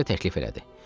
Vayse təklif elədi.